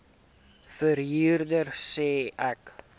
verhuurder sê ek